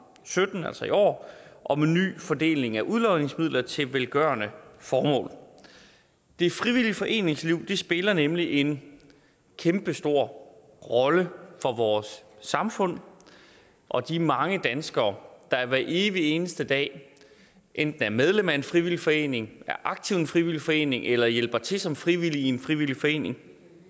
sytten altså i år om en ny fordeling af udlodningsmidler til velgørende formål det frivillige foreningsliv spiller nemlig en kæmpestor rolle for vores samfund og de mange danskere der hver evig eneste dag enten er medlem af en frivillig forening er aktiv i en frivillig forening eller hjælper til som frivillig i en frivillig forening